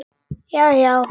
Já já.